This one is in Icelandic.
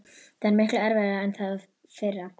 Það er miklu erfiðara en það fyrra.